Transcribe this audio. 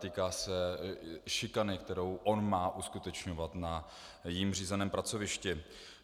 Týká se šikany, kterou on má uskutečňovat na jím řízeném pracovišti.